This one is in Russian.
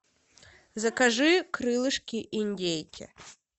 закажи крылышки индейки